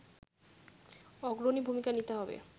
অগ্রণী ভূমিকা নিতে হবে